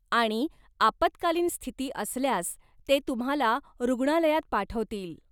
आणि आपत्कालीन स्थिती असल्यास ते तुम्हाला रुग्णालयात पाठवतील.